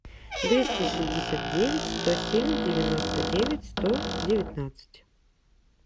двести шестьдесят девять сто семь девяносто девять сто девятнадцать